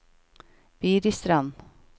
Biristrand